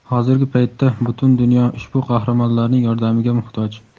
Hozirgi paytda butun dunyo ushbu qahramonlarning yordamiga muhtoj.